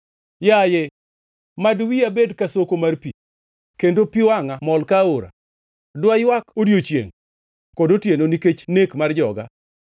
Yaye, mad wiya bed ka soko mar pi kendo pi wangʼa mol ka aora! Dwaywak odiechiengʼ kod otieno nikech nek mar joga.